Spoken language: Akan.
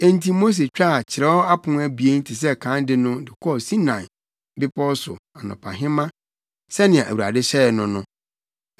Enti Mose twaa kyerɛw apon abien te sɛ kan de no de kɔɔ Sinai Bepɔw so anɔpahema sɛnea Awurade hyɛe no no.